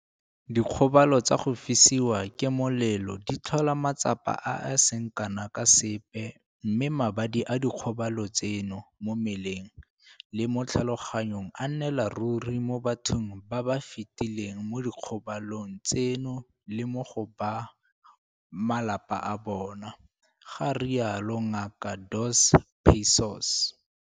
Dikgobalo tsa go fisiwa ke molelo di tlhola matsapa a a seng kana ka sepe mme mabadi a dikgobalo tseno mo mmeleng le mo tlhaloganyong a nnela ruri mo bathong ba ba fetileng mo dikgobalong tseno le mo go ba malapa a bona, ga rialo Ngaka Dos Passos.